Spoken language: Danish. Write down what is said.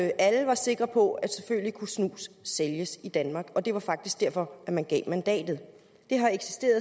alle var sikre på at selvfølgelig kunne snus sælges i danmark og det var faktisk derfor man gav mandatet